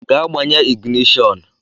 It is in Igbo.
Gaa gbanye ịgịnịshọnụ!